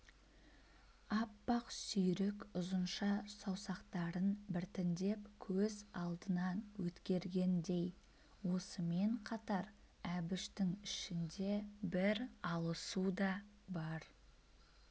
аппақ сүйрік ұзынша саусақтарын біртіндеп көз алдынан өткергендей осымен қатар әбіштің ішінде бір алысу да бар